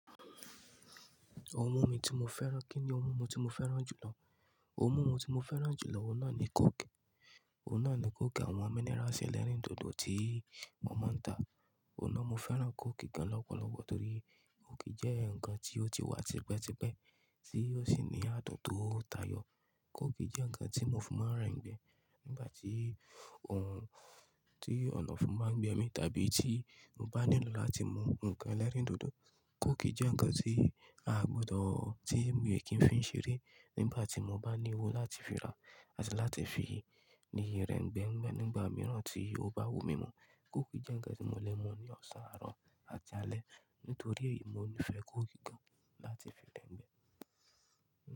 Ohun mí tí mo fẹ́ràn, kíni ohun mi tí mo fẹ́ràn jùlọ? Ohun mi tí mo fẹ́ràn jùlọ, òun náà ni kóòkì. Òun náà ni kóòkì, àwọn minerals ẹlẹ́rìndòdò tí wọ́n máa ń ta. Òun náà, mo fẹ́ràn kóòkì gan lọ́pọ̀lọpọ̀ torí kóòkì jẹ́ ǹkan tí ó ti wà tipẹ́tipẹ́ tí ó sì ní adùn táyọ. Kóòkì jẹ́ ǹkan tí mo fi máa ń ra ẹ̀gbẹ nígbà tí ohun tí ọ̀nàfun bá gbé mi, tàbí tí mo bá nílò láti mú ǹkan ẹlẹ́rìndòdò. Kóòkì jẹ́ ǹkan tí a gbọdọ̀, tí mo lè kí n fi ṣeré nígbà tí mo bá ní owó láti fi ra àti láti fi ni rẹ́ ẹ̀gbẹ́ mi nígbà mìíràn tí ó bá wù mí mọ́. Kóòkì jẹ́ ǹkan tí mo lè mú ní ọ̀sán, àárọ̀ àti alẹ́. Nítorí èyí, mo níì fẹ́ kóòkì gan láti fi rẹ́ n gbẹ́.